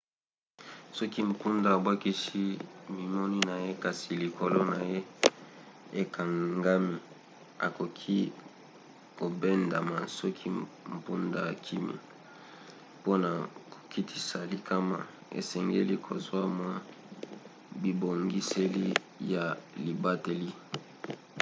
soki mpunda abwakisi momemi na ye kasi likolo na ye ekangami akoki kobendama soki mpunda akimi. mpona kokitisa likama esengeli kozwa mwa bibongiseli ya libateli